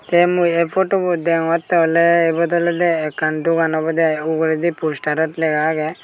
te mui ey podubot degongotte oley ibot olowde ekkan dogan obowde aai uguredi postarot lega agey.